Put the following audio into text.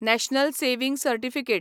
national saving certificate